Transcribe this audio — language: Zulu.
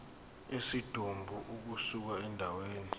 kwesidumbu ukusuka endaweni